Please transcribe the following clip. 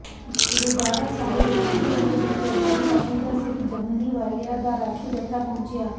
Gurdwara Sahib Bombay hill ਵਿਖੇ ਭਾਈ ਪਰਮਿੰਦਰ ਸਿੰਘ ਜਵੱਦੀ ਵਾਲਿਆਂ ਦਾ ਰਾਗੀ ਜੱਥਾ ਪਹੁੰਚਿਆ